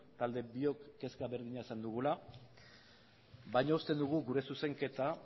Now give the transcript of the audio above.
talde biok kezka berdina izan dugula baina uste dugu gure zuzenketa